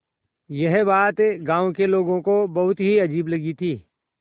यह बात गाँव के लोगों को बहुत ही अजीब लगी थी